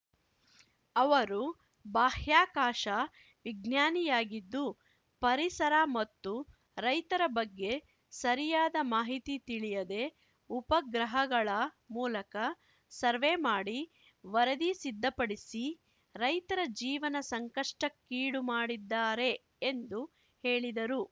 ಅವರು ಬಾಹ್ಯಾಕಾಶ ವಿಜ್ಞಾನಿಯಾಗಿದ್ದು ಪರಿಸರ ಮತ್ತು ರೈತರ ಬಗ್ಗೆ ಸರಿಯಾದ ಮಾಹಿತಿ ತಿಳಿಯದೆ ಉಪಗ್ರಹಗಳ ಮೂಲಕ ಸರ್ವೆ ಮಾಡಿ ವರದಿ ಸಿದ್ದಪಡಿಸಿ ರೈತರ ಜೀವನ ಸಂಕಷ್ಟಕ್ಕೀಡು ಮಾಡಿದ್ದಾರೆ ಎಂದು ಹೇಳಿದರು